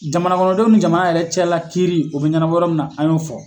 Jamana kɔnɔndenw ni jamana yɛrɛ cɛla la kiiri o bɛ ɲɛnabɔ yɔrɔ mina an y'o fɔ.